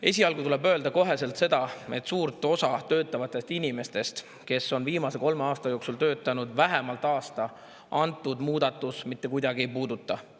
Esialgu tuleb kohe öelda seda, et suurt osa töötavatest inimestest, kes on viimase kolme aasta jooksul töötanud vähemalt aasta, antud muudatus kuidagi ei puuduta.